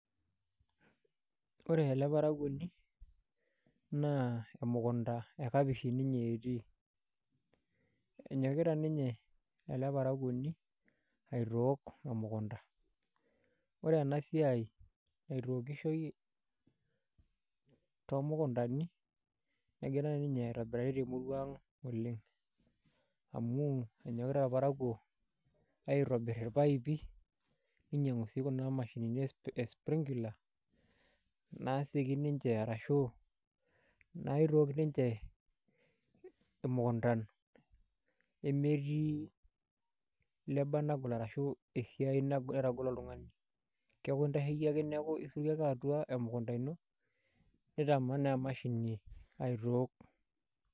Ore ele parakuoni naa emukunta ekapish ninye etii enyokita ninye ele parakuoni aitook emukunta ore ena siai naitookishoi toomukuntani negira ninye aitobirari temurua ang' oleng' amu enyokita irparakuo aitobir irpaipi ninyiang'u sii kuna mashinini e sprinkler naasioki ninche arashu naitook ninche imukuntan nemetii lobour nagol arashu esiai naitagol oltung'ani keeku intasheiki ake nitamanaa emashini aitook.